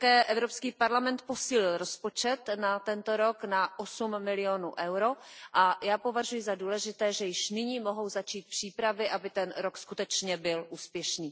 Evropský parlament také posílil rozpočet na tento rok na osm milionů EUR a já považuji za důležité, že již nyní mohou začít přípravy, aby ten rok byl skutečně úspešný.